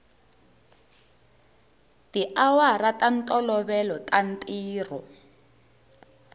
tiawara ta ntolovelo ta ntirho